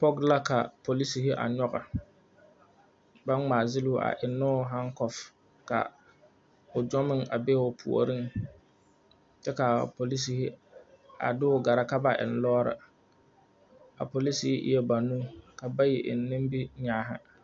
Pɔge la ka polisiri a nyɔge ka ba ŋmaa gyiloo a eŋnoo haŋkɔf ka o gyɔ meŋ be o puoriŋ kyɛ kaa polisiri deo gɛrɛ ka ba eŋ o lɔɔri a polisiri eɛɛ banuu ka bayi eŋ nimi nyaani.